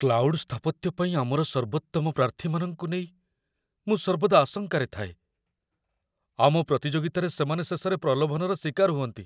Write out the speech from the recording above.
Cloud ସ୍ଥାପତ୍ୟ ପାଇଁ ଆମର ସର୍ବୋତ୍ତମ ପ୍ରାର୍ଥୀମାନଙ୍କୁ ନେଇ ମୁଁ ସର୍ବଦା ଆଶଙ୍କାରେ ଥାଏ। ଆମ ପ୍ରତିଯୋଗିତାରେ ସେମାନେ ଶେଷରେ ପ୍ରଲୋଭନର ଶିକାର ହୁଅନ୍ତି।